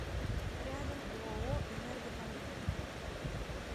рядом ооо энергокомплект